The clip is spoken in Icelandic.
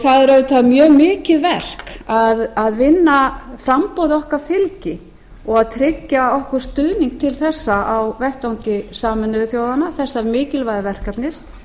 það er auðvitað mjög mikið verk að vinna framboði okkar fylgi og tryggja okkur stuðning til þess á vettvangi sameinuðu þjóðanna þessa mikilvæga verkefnis